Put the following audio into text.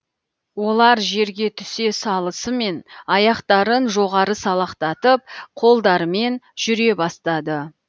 олар жерге түсе салысымен аяқтарын жоғары салақтатып қолдарымен жүре бастады